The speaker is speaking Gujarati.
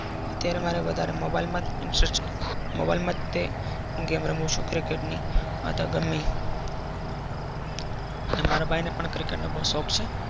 અત્યરે મારો વધારે mobile માં જ cricket રમું છુ. game ની રમું છુ. cricket મારા ભાઈ ને પણ cricket નો શોખ છે.